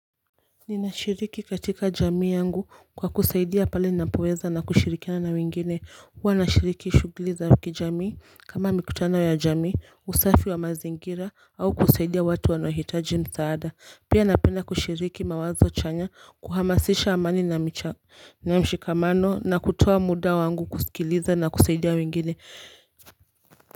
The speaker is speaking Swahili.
Ninashiriki katika jamii yangu kwa kusaidia pale ninapoweza na kushirikiana na wengine huwa nashiriki shughuli za kijamii kama mikutano ya jamii usafi wa mazingira au kusaidia watu wanahitaji msaada pia napenda kushiriki mawazo chanya kuhamasisha amani na mshikamano na kutoa muda wangu kusikiliza na kusaidia wengine.